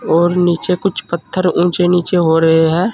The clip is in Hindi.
और नीचे कुछ पत्थर ऊंचे नीचे हो रहे हैं।